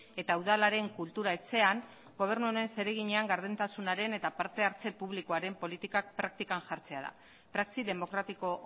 eta udalaren kultura etxean gobernu honen zereginean gardentasunaren eta parte hartze publikoaren politikak praktikan jartzea da praxi demokratiko